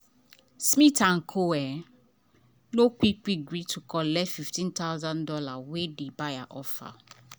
smith & co. no quick quick gree to collectfifteen thousand dollarswey di buyer offer.